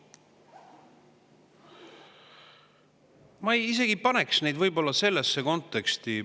Ma isegi ei paneks neid sellesse konteksti.